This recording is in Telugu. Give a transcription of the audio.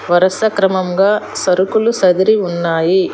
వరుస క్రమంగా సరుకులు సర్దిరి ఉన్నాయి.